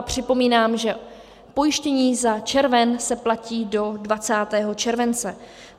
A připomínám, že pojištění za červen se platí do 20. července.